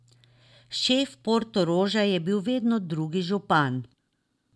Šef Portoroža je bil vedno drugi župan.